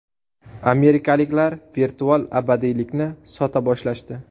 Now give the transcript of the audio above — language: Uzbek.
Amerikaliklar virtual abadiylikni sota boshlashdi.